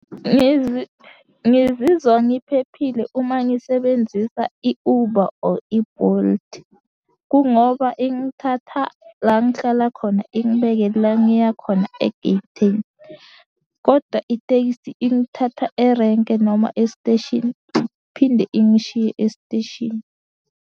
Ngizizwa ngiphephile uma ngisebenzisa i-Uber or i-Bolt, kungoba ingithatha la engihlala khona ingibeke la ngiya khona egeyithini, koda itekisi ingithatha erenke noma esiteshini iphinde ingishiye esiteshini.